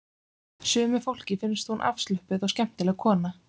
Sumu fólki finnst hún afslöppuð og skemmtileg kona